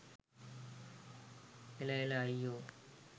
එළ එළ අයියෝ